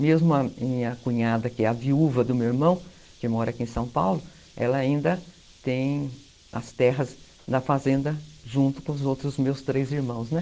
Mesmo a minha cunhada, que é a viúva do meu irmão, que mora aqui em São Paulo, ela ainda tem as terras na fazenda junto com os outros meus três irmãos, né?